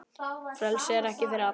Frelsi er ekki fyrir alla.